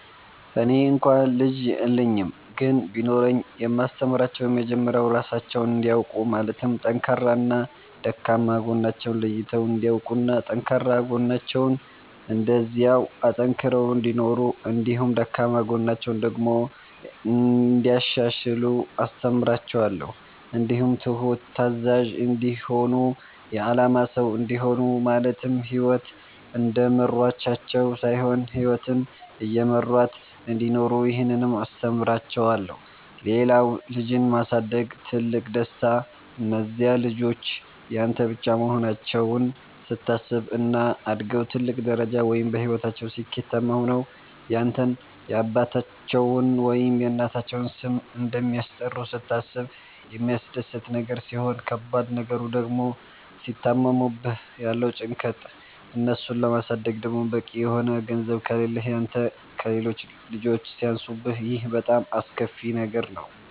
እኔ እንኳ ልጅ የለኝም ግን ቢኖረኝ የማስተምራቸዉ የመጀመሪያዉ ራሳቸዉን እንዲያዉቁ ማለትም ጠንካራና ደካማ ጎናቸዉን ለይተዉ እንዲያዉቁና ጠንካራ ጎናቸዉን እንደዚያዉ አጠንክረዉ እንዲኖሩ እንዲሁም ደካማ ጎናቸዉን ደግሞ እንያሻሽሉ አስተምራቸዋለሁ። እንዲሁም ትሁት፣ ታዛዥ፣ እንዲሆኑ የአላማ ሰዉ እንዲሆኑ ማለትም ህይወት እንደመራቻቸዉ ሳይሆን ህይወትን እየመሯት እንዲኖሩ ይህንንም አስተምራቸዋለሁ። ሌላዉ ልጅን ማሳደግ ትልቁ ደስታ እነዚያ ልጆች ያንተ ብቻ መሆናቸዉን ስታስብ፣ እና አድገዉ ትልቅ ደረጃ ወይም በህይወታቸዉ ስኬታማ ሆነዉ ያንተን የአባታቸዉን ወይም የእናታቸዉን ስም እንደሚያስጠሩ ስታስብ የሚያስደስት ነገር ሲሆን ከባድ ነገሩ ድግሞ ሲታመሙብህ ያለዉ ጭንቀት፣ እነሱን ለማሳደግ ደግሞ በቂ የሆነ ገንዘብ ከሌህ ያንተ ከሌሎች ልጆች ሲያንሱብህ ይሄ በጣም አስከፊ ነገር ነዉ።